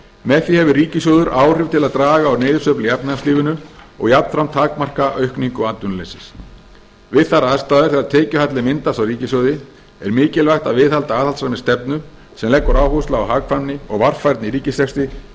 með því hefur ríkissjóður áhrif til að draga úr niðursveiflu í efnahagslífinu og jafnframt takmarka aukningu atvinnuleysis við þær aðstæður þegar tekjuhalli myndast á ríkissjóði er mikilvægt að viðhalda aðhaldssamri stefnu sem leggur áherslu á hagkvæmni og varfærni í ríkisrekstri